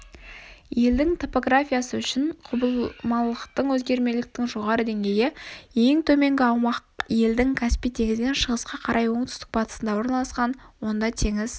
елдің топографиясы үшін құбылмалылықтың өзгермеліліктің жоғары деңгейі ең төменгі аумақ елдің каспий теңізінен шығысқа қарай оңтүстік батысында орналасқан онда теңіз